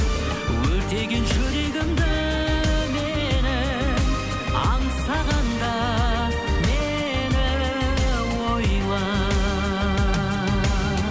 өртеген жүрегімді менің аңсағанда мені ойла